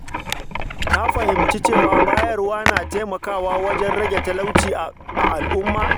Ka fahimci cewa bayarwa na taimakawa wajen rage talauci a al’umma.